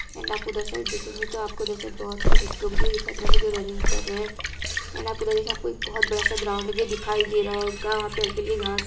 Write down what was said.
And आपको उधर side देखेंगे तो आपको उधर साइड बोहोत सारे बच्चे लोग भी दिखाई दे रहे होंगे जो रनिंग कर रहे हैं एण्ड आपको उधर देखे आपको एक बोहोत बड़ा सा ग्राउंड भी दिखाई दे रहा होगा। वहा पे हल्की-हल्की घाँस --